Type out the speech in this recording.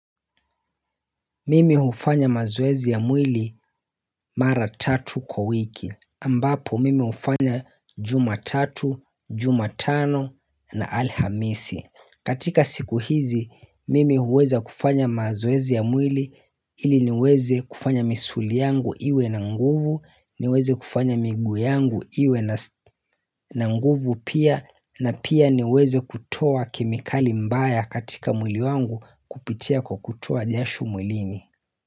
Mimi hufanya mazoezi ya mwili mara tatu kwa wiki ambapo mimi hufanya jumatatu, jumatano na alhamisi katika siku hizi mimi huweza kufanya mazoezi ya mwili ili niweze kufanya misuli yangu iwe na nguvu niweze kufanya miguu yangu iwe na nguvu pia na pia niweze kutoa kemikali mbaya katika mwili wangu kupitia kwa kutoa jasho mwilini.